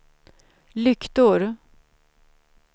lyktor